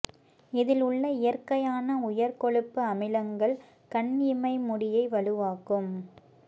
இதில் உள்ள இயற்கையான உயர் கொழுப்பு அமிலங்கள் கண் இமை முடியை வலுவாக்கும்